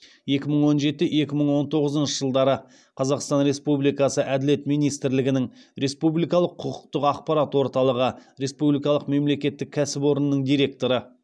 екі мың он жеті екі мың он тоғызыншы жылдары қазақстан республикасы әділет министрлігінің республикалық құқықтық ақпарат орталығы республикалық мемлекеттік кәсіпорнының директоры